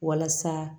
Walasa